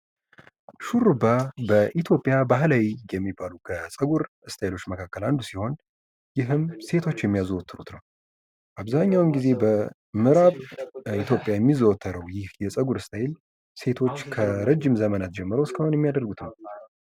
ሹርባ ኢትዮጵያ ባህላዊ የሚባሉ ከፀጉር ስታይሎች መካከል አንዱ ሲሆን ይህም ሴቶች የሚያዘወትሩት ነው ።አብዛኛውን ጊዜ በምእራብ ኢትዮጵያ የሚያዘወትረው ይህ የፀጉር ስታይል ሴቶች ከረጅም ዘመናት ጀምሮ እስካሁን የሚያደርጉት ነው።